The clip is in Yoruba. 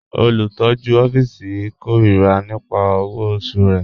Olùtọ̀jú òfìísì n kẹ́rọ̀rà nípà owó ọ̀ṣù rẹ̀.